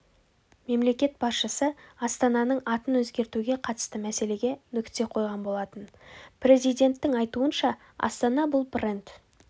мемлекет басшысы астананың атын өзгертуге қатысты мәселеге нүкте қойған болатын президенттің айтуынша астана бұл бренд